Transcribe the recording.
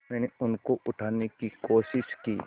मैंने उनको उठाने की कोशिश की